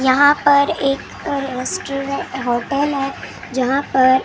यहाँ पर एक रेस्टोरेंट होटल हैं जहाँ पर वो।